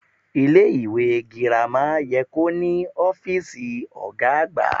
Ilé ìwé girama ye kó ní ófíìsì ògá àgbà